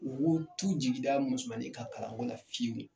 Mogow t'u jigi da musomanninw ka kalanko la fiyewu.